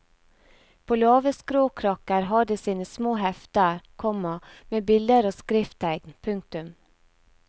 På lave skråkrakker har de sine små hefter, komma med bilder og skrifttegn. punktum